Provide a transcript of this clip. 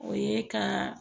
O ye ka